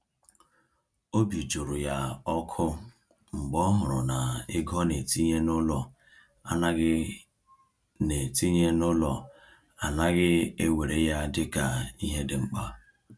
Obi jụrụ ya ọkụ mgbe ọ hụrụ na ego ọ na-etinye n’ụlọ anaghị na-etinye n’ụlọ anaghị ewere ya dịka ihe dị mkpa.